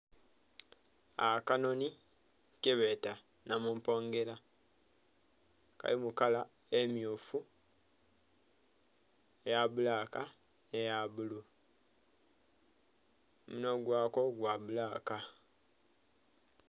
Akanhonhi kebeeta Namumpongela akali mu kala emmyufu, eya bbulaka nhe ya bbululu. Omunhwa gwako gwa bbulaka.